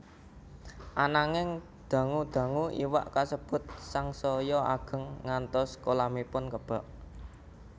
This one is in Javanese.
Ananing dangu dangu iwak kasebut sangsaya ageng ngantos kolamipun kebak